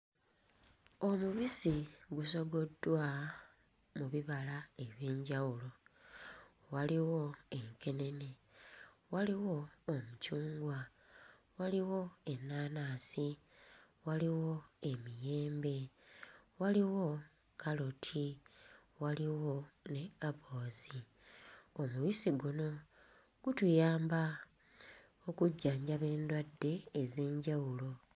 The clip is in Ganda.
Omubisi gusogoddwa mu bibala eby'enjawulo waliwo enkenene, waliwo omucungwa, waliwo ennaanaasi, waliwo emiyembe, waliwo kkaloti, waliwo ne apoozi. Omubisi guno gutuyamba okujjanjaba endwadde ez'enjawulo.